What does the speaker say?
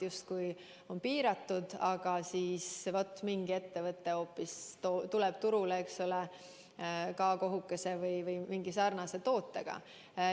Justkui on kampaania maht piiratud, aga mingi ettevõte tuleb turule, eks ole, K-kohukese või mingi muu sarnase tootega.